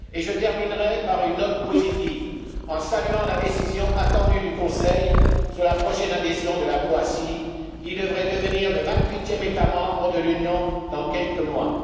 Je terminerai par une note positive, en saluant la décision attendue du Conseil sur la prochaine adhésion de la Croatie, qui devrait devenir le vingt huitième État membre de l'Union dans quelques mois.